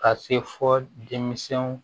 Ka se fo denmisɛnw